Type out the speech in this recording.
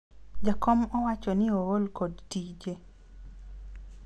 jakom owacho ni ool kod tije